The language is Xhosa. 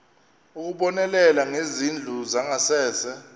ukubonelela ngezindlu zangasese